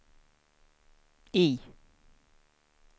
I